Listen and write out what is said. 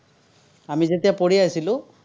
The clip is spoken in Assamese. আমি যেতিয়া পঢ়ি আছিলো।